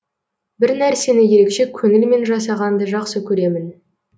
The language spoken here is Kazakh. бір нәрсені ерекше көңілмен жасағанды жақсы көремін